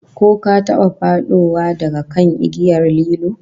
Ko ka taba fadowa daga kan igiyar lilo?